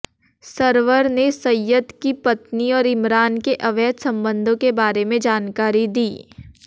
server ने सय्यद की पत्नी और इमरान के अवैध संबंधों के बारे में जानकारी दी